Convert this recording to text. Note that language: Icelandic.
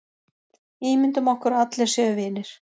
Ímyndum okkur að allir séu vinir.